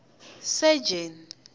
sejeni